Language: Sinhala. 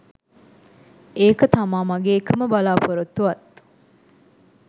ඒක තමා මගේ එකම බලා‍පොරොත්තුවත්..